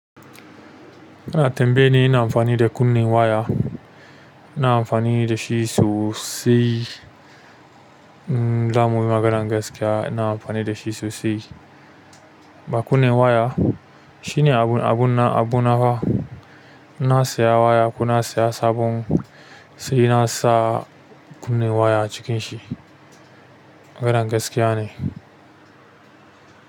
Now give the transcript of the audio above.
Kana tambaye ni ina amfani da kunne waya, ina amfani da shi sosai. Daman maganar gaskiya ina amfani da shi sosai. Ba kunne waya shine abun abun abun nawa. Ina saya waya ko na saya sabon sai na sa kunne waya a cikin shi. Maganar gaskiya ne.